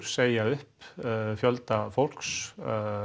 segja upp fjölda fólks